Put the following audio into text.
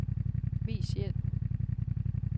Vis hjælp.